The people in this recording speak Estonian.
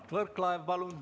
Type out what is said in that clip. Mart Võrklaev, palun!